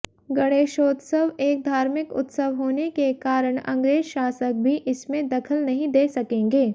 गणेशोत्सव एक धार्मिक उत्सव होने के कारण अंग्रेज शासक भी इसमें दखल नहीं दे सकेंगे